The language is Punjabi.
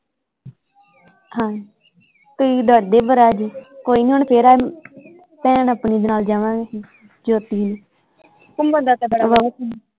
ਹਾਂ ਤੁਸੀਂ ਡਰਦੇ ਬੜਾ ਜੇ ਕੋਈ ਨਹੀਂ ਹੁਣ ਫੇਰ ਭੈਣ ਆਪਣੀ ਦੇ ਨਾਲ ਜਾਵਾਂਗੇ ਜੋਤੀ ਨਾਲ ਘੁੱਮਣ ਦਾ ਤੇ ਬੜਾ